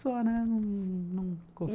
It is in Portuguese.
só, né? num